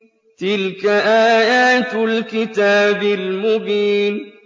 تِلْكَ آيَاتُ الْكِتَابِ الْمُبِينِ